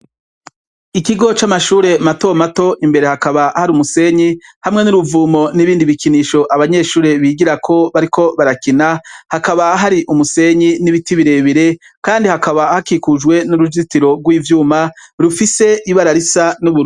Ikigo c'amashure matomato imbere hakaba hari umusenyi hamwe nuruvumo nibindi bikinisho abanyeshure bigirako bariko barakina hakaba hari umusenyi n'ibiti birebire kandi hakaba hakikujwe nuruzitiro rwivyuma rufise ibara Risa n'ubururu.